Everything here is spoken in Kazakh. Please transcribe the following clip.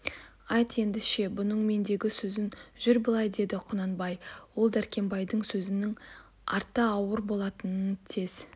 айт ендеше бұның мендегі сөзін жүр былай деді құнанбай ол дәркембайдың сөзнің арты ауыр болатынын тез